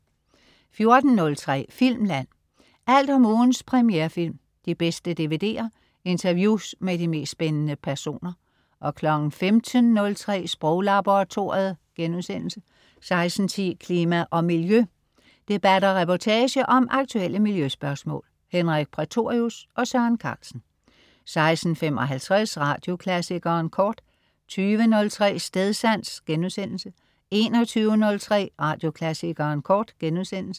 14.03 Filmland. Alt om ugens premierefilm, de bedste DVD'er, interviews med de mest spændende personer 15.03 Sproglaboratoriet* 16.10 Klima og Miljø. Debat og reportage om aktuelle miljøspørgsmål. Henrik Prætorius og Søren Carlsen 16.55 Radioklassikeren Kort 20.03 Stedsans* 21.03 Radioklassikeren Kort*